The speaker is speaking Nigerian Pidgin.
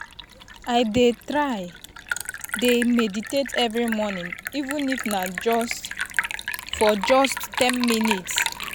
i dey try dey meditate every morning even if na for just na for just ten minutes.